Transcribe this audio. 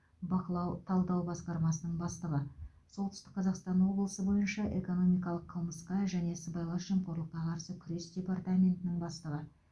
бақылау талдау басқармасының бастығы солтүстік қазақстан облысы бойынша экономикалық қылмысқа және сыбайлас жемқорлыққа қарсы күрес департаментінің бастығы